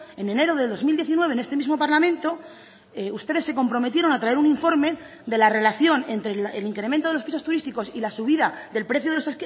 en enero de dos mil diecinueve en este mismo parlamento ustedes se comprometieron a traer un informe de la relación entre el incremento de los pisos turísticos y la subida del precio de los